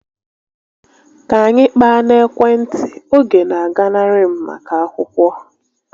Ka anyị kpaa n'ekwentị, oge na aganarị m maka akwụkwọ